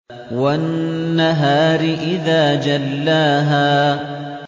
وَالنَّهَارِ إِذَا جَلَّاهَا